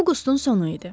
Avqustun sonu idi.